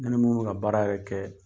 Ne ni munnu bɛ ka baara yɛrɛ kɛ